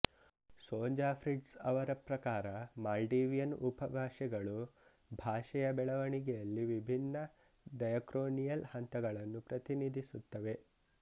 Sonja Fritz ಅವರ ಪ್ರಕಾರ Maldivian ಉಪಭಾಷೆಗಳು ಭಾಷೆಯ ಬೆಳವಣಿಗೆಯಲ್ಲಿ ವಿಭಿನ್ನ ಡಯಾಕ್ರೊನಿಯಲ್ ಹಂತಗಳನ್ನು ಪ್ರತಿನಿಧಿಸುತ್ತವೆ